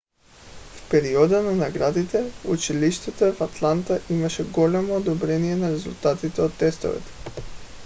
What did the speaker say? в периода на наградите в училищата в атланта имаше голямо подобрение на резултатите от тестовете